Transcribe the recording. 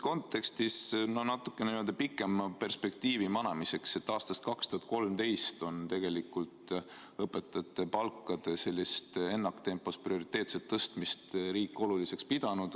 Natuke pikema perspektiivi manamiseks aastast 2013 on õpetajate palga ennaktempos tõstmist riik oluliseks pidanud.